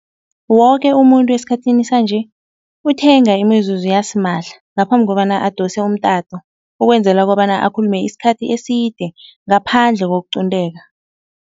Woke umuntu esikhathini sanje, uthenga imizuzu yasimahla ngaphambi kobana adose umtato ukwenzela kobana akhulume isikhathi eside ngaphandle kokuqunteka.